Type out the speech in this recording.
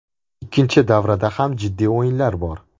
Ikkinchi davrada ham jiddiy o‘yinlar bor.